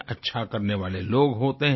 अच्छा करने वाले लोग होते हैं